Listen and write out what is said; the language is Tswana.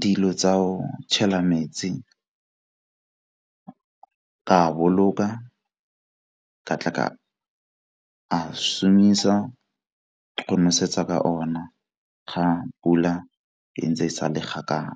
dilo tsa go tšhela metsi a boloka, ka tla ka a šomisa go nosetsa ka ona ga pula e ntse e sa le kgakala.